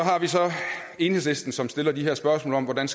enhedslisten som stiller spørgsmål om hvordan